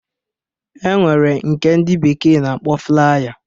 E nwere nke dị bekee na-akpọ flaya